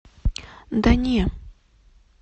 да не